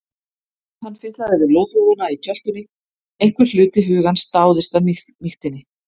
Hann fitlaði við loðhúfuna í kjöltunni, einhver hluti hugans dáðist að mýktinni.